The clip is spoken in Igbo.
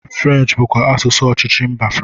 French bụkwa asụsụ ọchịchị mba France